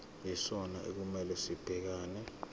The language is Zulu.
yisona okumele sibhekane